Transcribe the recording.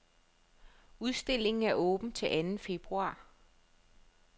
Udstillingen er åben til anden februar.